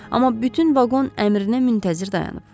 Amma bütün vaqon əmrinə müntəzir dayanıb.